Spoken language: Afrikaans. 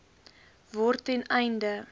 word ten einde